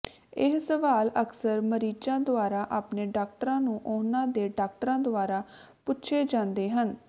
ਇਹ ਸਵਾਲ ਅਕਸਰ ਮਰੀਜ਼ਾਂ ਦੁਆਰਾ ਆਪਣੇ ਡਾਕਟਰਾਂ ਨੂੰ ਉਹਨਾਂ ਦੇ ਡਾਕਟਰਾਂ ਦੁਆਰਾ ਪੁੱਛੇ ਜਾਂਦੇ ਹਨ